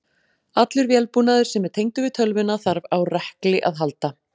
Allur vélbúnaður sem er tengdur við tölvuna þarf á rekli að halda.